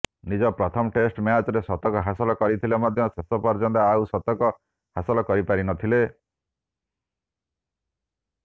ନିଜ ପ୍ରଥମ ଟେଷ୍ଟ ମ୍ୟାଚରେ ଶତକ ହାସଲ କରିଥିଲେ ମଧ୍ୟ ଶେଷ ପର୍ଯ୍ୟନ୍ତ ଆଉ ଶତକ ହାସଲ କରିପାରିନଥିଲେ